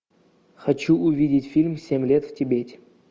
хочу увидеть фильм семь лет в тибете